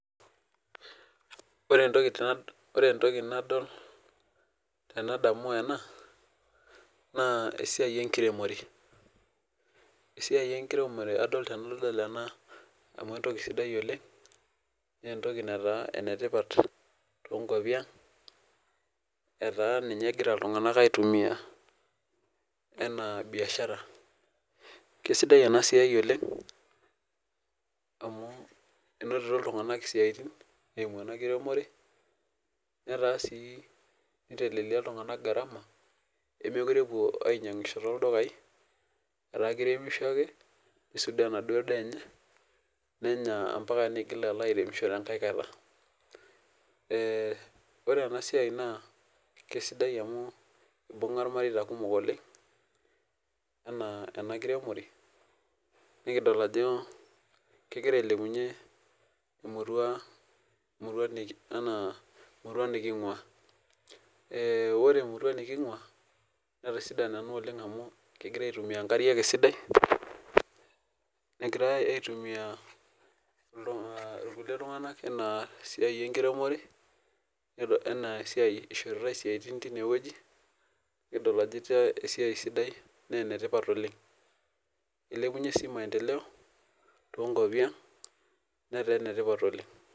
Ore ntoki na ore entoki nadol tenadamu ena naa esiaai ekiremore esiaai enkiremore adol tenadol ena amuu entoki sidai oleng, naa entoki naataa enetipat toonkwapi ang etaa ninye egira iltung'ana aaitumia enaa biashara. Keisidai ena siaai oleng, amuu enotito ltung'anak isiaitin eimu ena kiremore netaa sii niteleliaa iltung'ana garama nemeekure epuo aainyang'isho too ldukai etaakiremisho ake neisudoo ena duo daa enye, nenya ampaka neigil alo airemisho enkae kata. Ee ore enasiaai naa keisidai amuu eibung'a irmareita kumok oleng enaa ena kiremore nikidol ajo kegira ailepunyie emurua, emurua niki enaa emurua niking'waa. Ee ore emurua niking'waa netisidana naa oleng amuu kegira aaitumia nkariak esidai, negirai aaitumia irkulie tung'anak, enaa esiaai enkiremore, ishoritae isiaitin tinewueji, nikidol aajo esiaai sidai nee enetipat oleng. Ilepunye sii maendeleo too nkwapi ang, neteenetipat oleng.